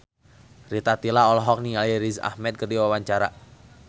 Rita Tila olohok ningali Riz Ahmed keur diwawancara